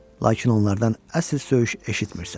Lakin onlardan əsl söyüş eşitmirsən.